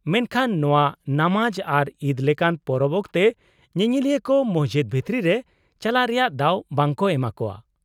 -ᱢᱮᱱᱠᱷᱟᱱ ᱱᱚᱶᱟ ᱱᱟᱢᱟᱡ ᱟᱨ ᱤᱫ ᱞᱮᱠᱟᱱ ᱯᱚᱨᱚᱵᱽ ᱚᱠᱛᱮ ᱧᱮᱧᱮᱞᱤᱭᱟᱹ ᱠᱚ ᱢᱚᱥᱡᱤᱫ ᱵᱷᱤᱛᱨᱤ ᱨᱮ ᱪᱟᱞᱟᱜ ᱨᱮᱭᱟᱜ ᱫᱟᱣ ᱵᱟᱝ ᱠᱚ ᱮᱢᱟᱠᱚᱣᱟ ᱾